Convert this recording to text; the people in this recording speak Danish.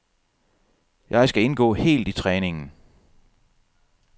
Jeg skal indgå helt i træningen.